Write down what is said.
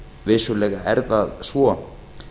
vissulega er það svo